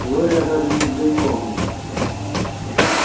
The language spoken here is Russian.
глория даже не взглянула на неё